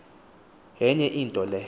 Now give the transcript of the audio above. yenye into le